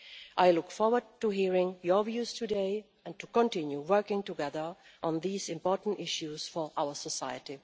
I look forward to hearing your views today and to continue working together on these important issues for our society.